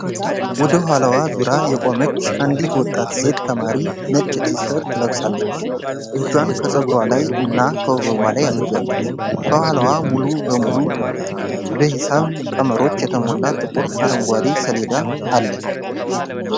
ወደ ኋላዋ ዞራ የቆመች አንዲት ወጣት ሴት ተማሪ ነጭ ቲሸርት ለብሳለች። እጇን ከፀጉሯ ላይ እና ከወገቧ ላይ አድርጋለች። ከኋላዋ ሙሉ በሙሉ በሂሳብ ቀመሮች የተሞላ ጥቁር አረንጓዴ ሰሌዳ አለ።